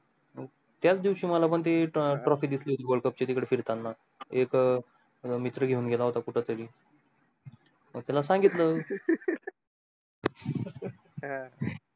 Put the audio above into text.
त्याचा दिवशी माला पन ती trophy दिसली होती world cup तिकड फिरताना एक अं मित्र घेऊन गेला होता कुठ तरी मंग त्याला सांगितलं हा